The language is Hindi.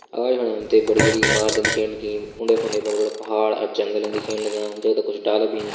अगाड़ी फणा हम ते बड़ी बड़ी इमारतन दिखेण लगीं उंडे फुंडे बड़ा बड़ा पहाड़ अ जंगलन दिखेण लग्यां जगदा कुछ डाला भिन।